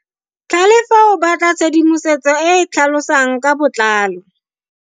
Tlhalefo o batla tshedimosetso e e tlhalosang ka botlalo.